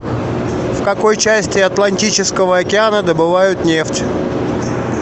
в какой части атлантического океана добывают нефть